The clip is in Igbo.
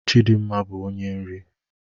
Chidimma bụ onye nri